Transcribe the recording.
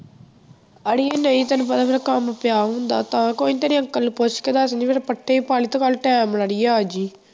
ਆੜੀਏ ਨਹੀਂ ਤੈਨੂੰ ਪਤਾ ਮੇਰਾ ਕੰਮ ਪਿਆ ਹੁੰਦਾ ਤਾਂ ਕੋਈ ਨੀ ਤੇਰੇ ਅੰਕਲ ਨੂੰ ਪੁੱਛ ਕੇ ਦੱਸ ਦਿਨੀ ਕੱਲ੍ਹ ਤੋਂ ਨਾਲੇ time ਨਾਲ ਆੜੀਏ ਆ ਜਾਈਂ